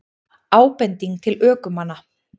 Ábending til ökumanna